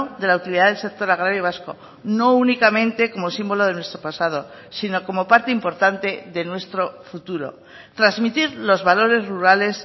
de la utilidad del sector agrario vasco no únicamente como símbolo de nuestro pasado sino como parte importante de nuestro futuro transmitir los valores rurales